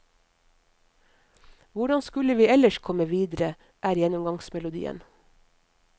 Hvordan skulle vi ellers komme videre, er gjennomgangsmelodien.